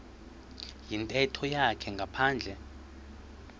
yintetho yakhe ngaphandle